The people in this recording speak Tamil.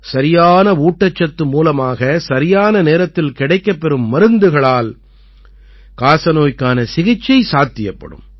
சரியான ஊட்டச்சத்து மூலமாக சரியான நேரத்தில் கிடைக்கப் பெறும் மருந்துகளால் காசநோய்க்கான சிகிச்சை சாத்தியப்படும்